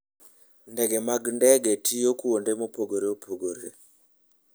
Ndege mag ndege tiyo kuonde mopogore opogore.